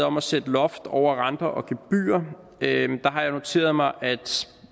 om at sætte loft over renter og gebyrer har jeg noteret mig at